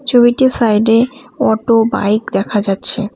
ছবিটির সাইড -এ auto bike দেখা যাচ্ছে।